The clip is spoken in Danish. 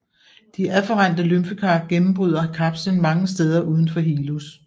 De afferente lymfekar gennembryder kapslen mange steder udenfor hilus